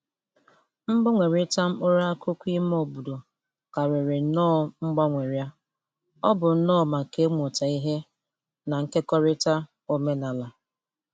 Mgbanwerita mkpụrụ akụkụ ime obodo karịrị nnọọ mgbanwerịa= ọ bụ nnọọ maka ịmụta ihe na nkekọrịta omenala.